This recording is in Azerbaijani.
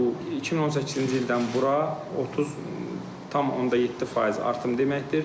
Bu 2018-ci ildən bura 30.7% artım deməkdir.